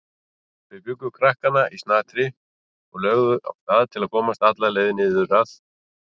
Þau bjuggu krakkana í snatri og lögðu af stað og komust alla leið niður að